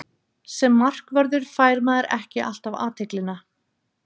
Sem markvörður fær maður ekki alltaf athyglina.